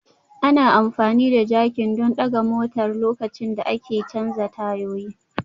Ana amfani da jakin don ɗaga motar lokacin da ake canza tayoyin